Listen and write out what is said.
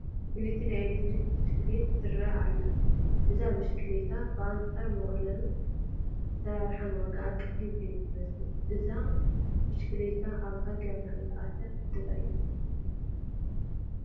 ፍልይቲ ናይ ኤለክትሪክ ብሽክሌት ትርአ ኣላ፡፡ እዛ ብሽክሌታ ብኣንፃር ምቕሉል ኣሰራርሓኣ ዋጋኣ ቀሊል እዩ ዝመስል፡፡ እዛ ብሽክሌታ ኣብ ሃገርና እንተኣትያ ክዕድጋ እየ፡፡